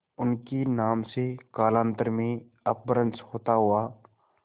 उनके नाम से कालांतर में अपभ्रंश होता हुआ